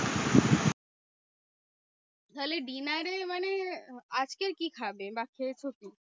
তাহলে dinner এ মানে আজকের কি খাবে বা খেয়েছো কি?